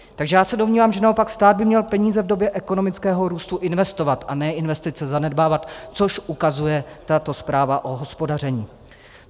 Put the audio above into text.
Takže já se domnívám, že naopak stát by měl peníze v době ekonomického růstu investovat a ne investice zanedbávat, což ukazuje tato zpráva o hospodaření.